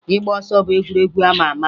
Ịgba ọsọ bụ egwuregwu a ma ama